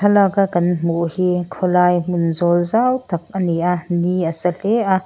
thalaka kan hmuh hi khawlai hnun zawl zau tak a ni a ni a sa hle a.